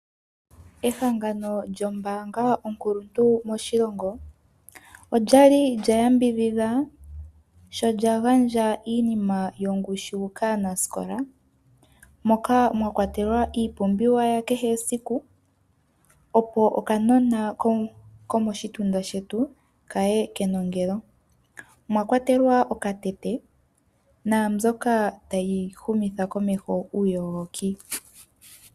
Ehangano lyombaanga onkuluntu moshilingo. Olyali lya yambidhidha, sho lyagandja iinima yongushi kaanasikola, moka mwakwatelwa iipumbiwa ya kehe esiku opo okanona komoshitunda shetu ka ye kenongelo. Omwa kwatelwa okatete naambyoka ta yi humitha komeho uuyogoki.